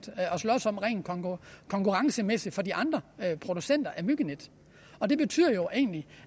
slås om rent konkurrencemæssigt for de andre producenter af myggenet og det betyder jo